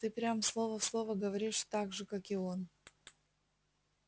ты прям слово в слово говоришь так же как и он